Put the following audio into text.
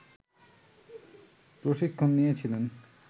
প্রশিক্ষণ নিয়েছিলেন